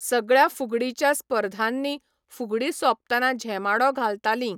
सगळ्या फुगडीच्या स्पर्धांनी फुगडी सोंपतना झेमाडो घालतालीं.